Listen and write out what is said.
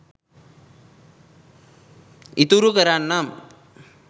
ඉතුරු කරන්නම්